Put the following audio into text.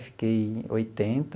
Fiquei em oitenta.